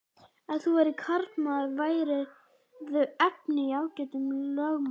Ef þú værir karlmaður værirðu efni í ágætan lögmann.